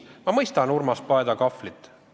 Ma mõistan Urmas Paeti kahvlit.